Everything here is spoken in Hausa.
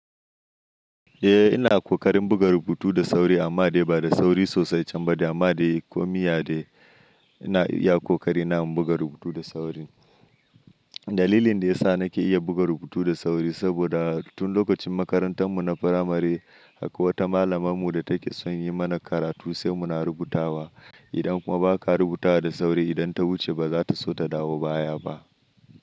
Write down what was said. Eh ina ƙoƙarin buga rubutu da sauri amma dai ba da sauri sosai, can ba de amma dai komiya dai ina iya ƙoƙari na buga rubutu da sauri. Dalilin da ya sa nake iya buga rubutu da sauri saboda tun lokacin makarantar mu na firamare haka wata malamar mu da take son yi mana karatu sai muna rubutawa. Idan kuma ba ka rubuta da sauri idan ta wuce ba za ta so ta dawo baya ba.